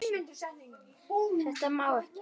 Þetta má ekki.